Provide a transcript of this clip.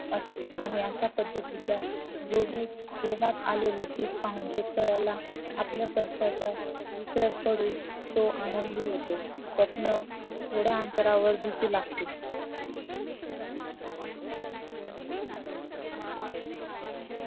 असतो आणि अश्या पद्धतीच्या जोमात आलेले पीक पाहून शेतकऱ्याला आपल्या कष्टाचा विसर पडून तो आनंदी होतो स्वप्न थोड्या अंतरावरती दिसू लागते